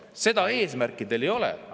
Seda eesmärki teil ei ole.